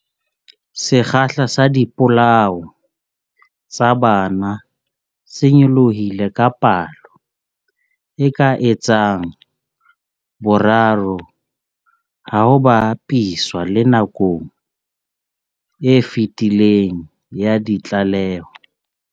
Sekgahla sa dipolao tsa bana se nyolohile ka palo e ka etsang boraro ha ho ba piswa le nakong e fetileng ya ditlaleho.